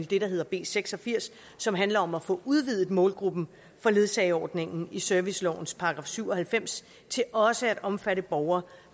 det der hedder b seks og firs som handler om at få udvidet målgruppen for ledsageordningen i servicelovens § syv og halvfems til også at omfatte borgere